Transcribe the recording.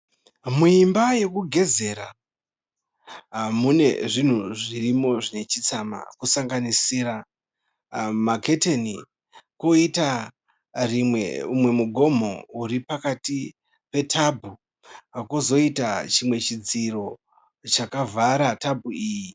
Muimba yokugezera mune zvinhu zvirimo zvine chitsama kusanganisira maketeni. Koita ,mumwe mugomo uri pakati pe tabhu kozoita chimwe chidziro chakavhara tabhu iyi.